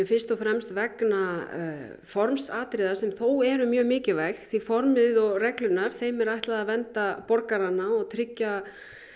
fyrst og fremst vegna formsatriða sem þó eru mjög mikilvæg því að formið og reglurnar þeim er ætlað að vernda borgarana og tryggja